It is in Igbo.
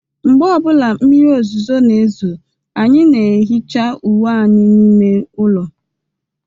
Mgbe ọ bụla mmiri ozuzo na-ezo, anyị na-ehicha uwe anyị n'ime ụlọ